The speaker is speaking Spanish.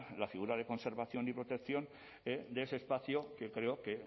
la figura de conservación y protección de ese espacio que creo que